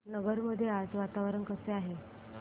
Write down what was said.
नगर मध्ये आज वातावरण कसे आहे